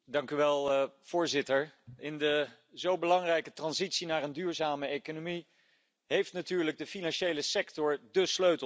Voorzitter, in de zo belangrijke transitie naar een duurzame economie heeft natuurlijk de financiële sector de sleutel in handen.